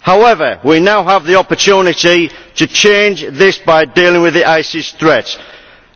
However we now have the opportunity to change this by dealing with the threat of ISIS,